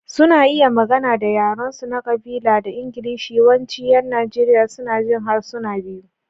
Suna iya magana da yarensu na ƙabila da Ingilishi, yawancin ƴan Najeriya suna jin harsuna biyu.